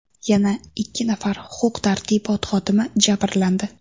Yana ikki nafar huquq-tartibot xodimi jabrlandi.